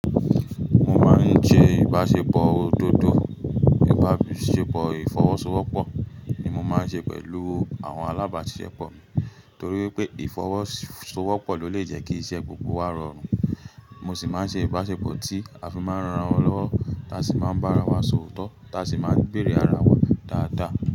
Mo máa ń ṣe ìbáṣepọ̀ òdodo, ìbáṣepọ̀ ìfọwọ́sowọ́pọ̀ ni mo máa ń ṣe pẹ̀lú àwọn alábáṣepọ̀ mi torí wipé ìfọwọ́sowọ́pọ̀ ló lè jẹ́ kí iṣẹ́ gbogbo wa rọrùn. Mo sì máa ń ṣe ìbáṣepọ̀ tí a fi máa ń ran ara wa lọ́wọ́ táa sì máa ń bá ara wa sòótọ́ táa sì máa ń bèerè ara wa dáadáa.